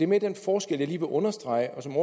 mere den forskel jeg lige vil understrege og som